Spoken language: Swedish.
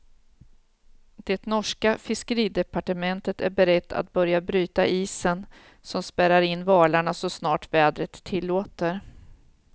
Det norska fiskeridepartementet är berett att börja bryta isen som spärrar in valarna så snart vädret tillåter.